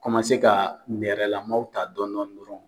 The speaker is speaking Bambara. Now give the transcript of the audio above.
Kɔmase ka nɛrɛla maaw ta dɔɔni dɔɔni dɔorɔn.